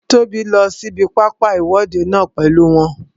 Tóbi lọ sí ibi pápá ìwọ́de náà pèlú wọn